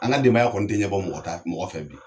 An denbaya kɔni tɛ ɲɛbɔ mɔgɔ ta mɔgɔ fɛ bi.